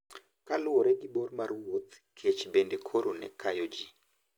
Kaluwore gi bor mar wuoth, kech bende koro ne kayo ji.